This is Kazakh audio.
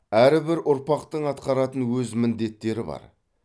әрбір ұрпақтың атқаратын өз міндеттері бар